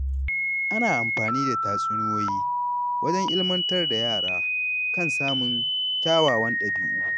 Ana amfani da tatsuniyoyi wajen ilmantar da yara kan samun kyawawan ɗabi’u.